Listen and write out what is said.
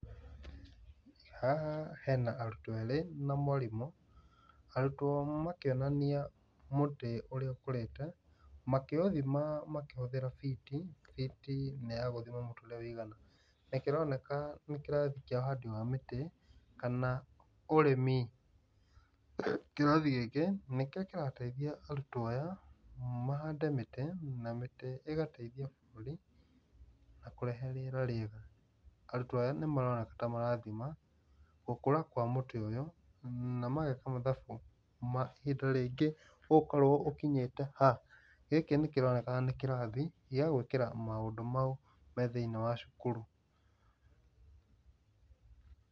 Haha hena arutwo erĩ na mwarimũ, arutwo makĩonania mũtĩ ũria ũkũrĩte makĩũthima makĩhũthĩra biti. Biti nĩ ya gũthima mũtĩ ũrĩa ũigana nĩ kĩroneka nĩ kĩrathi kĩa ũhandi wa mĩtĩ kana ũrĩmi. Kĩrathi gĩkĩ nĩkĩo kĩratethia arutwo aya mahande mĩtĩ na mĩtĩ ĩgateithia bũrũri na kũrehe rĩera rĩega. Arutwo aya nĩ maroneka ta marathima gũkũra kwa mũti ũyũ na mageka mathabu ihinda rĩngĩ ũgũkorwo ũkinyĩte ha. Gĩkĩ nĩ kĩronekana nĩ kĩrathi gĩa gũĩkĩra maũndũ mau me thĩiniĩ wa cukuru.